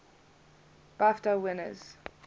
bafta winners